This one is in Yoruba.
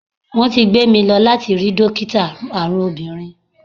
Wón ti gbé mi lọ láti rí dókítà àrùn obìnrin.